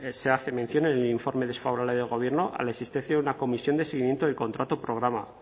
se hace mención en el informe desfavorable del gobierno a la existencia de una comisión de seguimiento del contrato programa